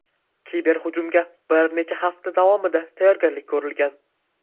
Kiberhujumga bir necha hafta davomida tayyorgarlik ko‘rilgan.